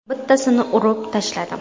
Bittasini urib tashladim.